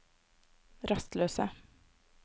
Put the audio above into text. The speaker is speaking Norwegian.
rastløse